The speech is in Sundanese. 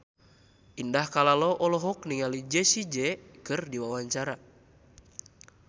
Indah Kalalo olohok ningali Jessie J keur diwawancara